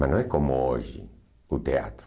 Mas não é como hoje, o teatro.